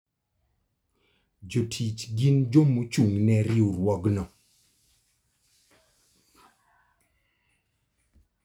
Jotich gin joma ochung' ne riwruogno.